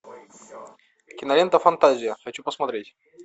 кинолента фантазия хочу посмотреть